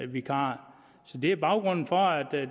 vikarer så det er baggrunden for at